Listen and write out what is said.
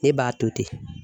Ne b'a to ten.